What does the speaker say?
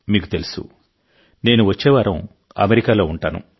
మీకు తెలుసు నేను వచ్చే వారం అమెరికాలో ఉంటాను